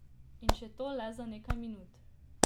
In še to le za nekaj minut.